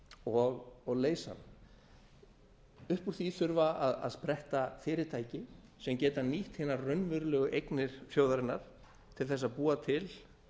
og leysa hann upp úr því þurfa að spretta fyrirtæki sem geta nýtt hinar raunverulegu eignir þjóðarinnar til að búa til